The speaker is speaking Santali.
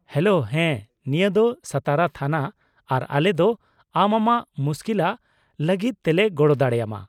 -ᱦᱮᱞᱳ, ᱦᱮᱸ, ᱱᱤᱭᱟᱹ ᱫᱚ ᱥᱟᱛᱟᱨᱟ ᱛᱷᱟᱱᱟ ᱟᱨ ᱟᱞᱮ ᱫᱚ ᱟᱢ ᱟᱢᱟᱜ ᱢᱩᱥᱠᱤᱞᱟᱜ ᱞᱟᱹᱜᱤᱫ ᱛᱮᱞᱮ ᱜᱚᱲᱚ ᱫᱟᱲᱮᱭᱟᱢᱟ ᱾